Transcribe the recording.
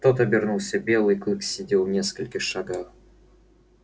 тот обернулся белый клык сидел в нескольких шагах